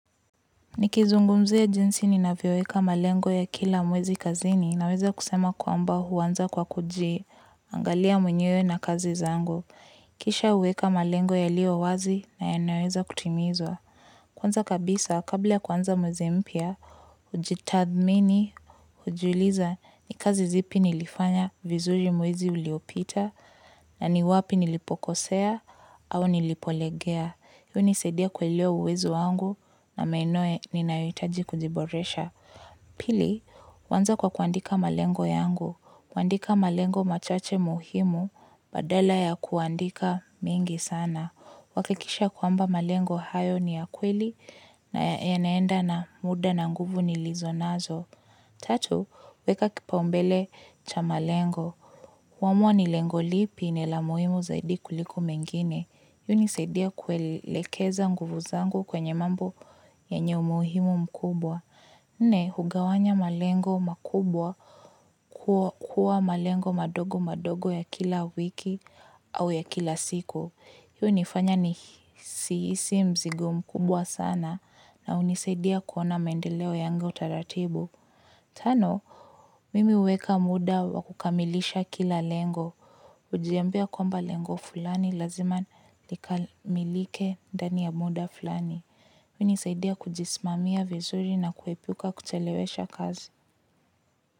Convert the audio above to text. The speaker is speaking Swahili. Nikizungumzia jinsi ninavyoweka malengo ya kila mwezi kazini naweza kusema kwamba uanza kwa kujiangalia mwenyewe na kazi zangu. Kisha uweka malengo yalio wazi na yanaoweza kutimizwa. Kwanza kabisa, kabla kuanza mwezi mpya, ujitathmini, ujiuliza ni kazi zipi nilifanya vizuri mwezi uliopita na ni wapi nilipokosea au nilipolegea. Hii unisaidia kuelewa uwezo wangu na maeneo ninayohitaji kujiboresha. Pili, uanza kwa kuandika malengo yangu. Uandika malengo machache muhimu badala ya kuandika mengi sana uhakikisha kwamba malengo hayo ni ya kweli na yanaenda na muda na nguvu nilizo nazo. Tatu, weka kipaumbele cha malengo. Uamua ni lengo lipi ni la muhimu zaidi kuliko mengine. Hii unisaidia kuelekeza nguvu zangu kwenye mambo yenye umuhimu mkubwa nne, hugawanya malengo makubwa kuwa malengo madogo madogo ya kila wiki au ya kila siku. Hii unifanya nisihisi mzigo mkubwa sana na unisaidia kuona maendeleo yangu taratibu. Tano, mimi uweka muda wakukamilisha kila lengo. Ujiambia kwamba lengo fulani lazima likamilike ndani ya muda fulani. Hii unisaidia kujisimamia vizuri na kuepuka kuchelewesha kazi.